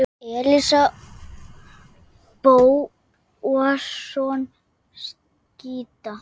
Elías Bóasson skytta.